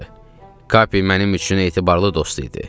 Kapi mənim üçün etibarlı dost idi.